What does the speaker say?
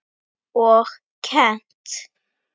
Og kennt.